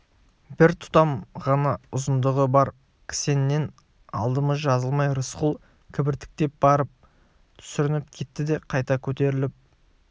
бір тұтам ғана ұзындығы бар кісеннен адымы жазылмай рысқұл кібіртіктеп барып сүрініп кетті де қайта көтеріліп